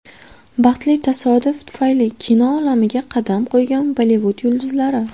Baxtli tasodif tufayli kino olamiga qadam qo‘ygan Bollivud yulduzlari .